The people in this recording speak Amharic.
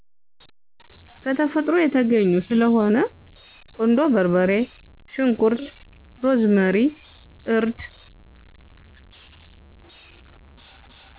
ከተፈጥሮ የተገኙ ስለሆነ ቁንዶ በርበሬ ሽንኩርት ሮዝመሪ እርድ